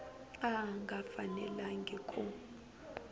a a nga fanelangi ku